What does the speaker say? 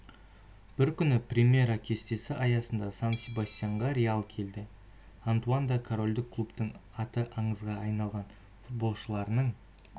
бір күні примера кестесі аясында сан-себастьянға реал келді антуан да корольдік клубтың аты аңызға айналған футболшыларының